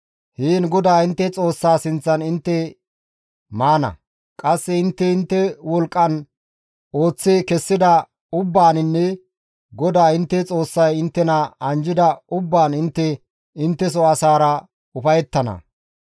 Heen GODAA intte Xoossaa sinththan intte maana; qasse intte intte wolqqan ooththi kessida ubbaaninne GODAA intte Xoossay inttena anjjida ubbaan intte intteso asaara ufayettana.